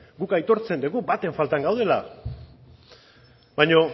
guk aitortzen dugu baten faltan gaudela baina